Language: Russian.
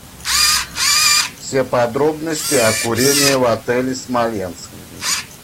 все подробности о курении в отеле смоленск